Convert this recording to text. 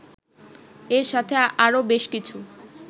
এর সাথে আরো বেশ কিছু